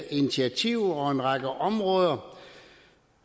initiativer og en række områder